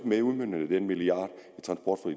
med i udmøntningen af den milliard